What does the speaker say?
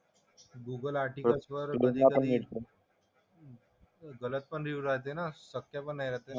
Google आर्टिकल्सवर कधी कधी गलत पण रिव्ह्यू राहते ना. सत्य पण नाही राहते ना.